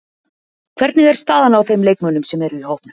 Hvernig er staðan á þeim leikmönnum sem eru í hópnum?